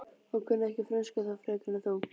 Ég kunni ekki frönsku þá frekar en nú.